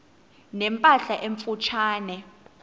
ne mpahla emfutshane